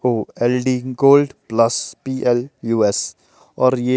OLD gold plus P L U S और ये--